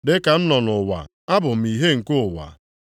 Dị ka m nọ nʼụwa, Abụ m ìhè nke ụwa.”